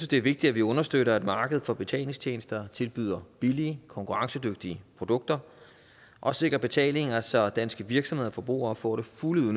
det er vigtigt at vi understøtter at markedet for betalingstjenester tilbyder billige konkurrencedygtige produkter og sikrer betalinger så danske virksomheder og forbrugere får det fulde